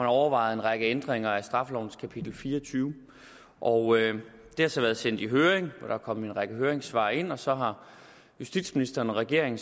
overvejet en række ændringer af straffelovens kapitel fire og tyve og det har så været sendt i høring hvor der er kommet en række høringssvar ind og så har justitsministeren og regeringen